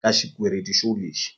ka xikweleti xo lexi.